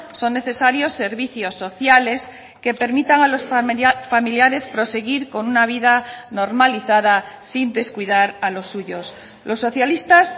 son necesarios servicios sociales que permitan a los familiares proseguir con una vida normalizada sin descuidar a los suyos los socialistas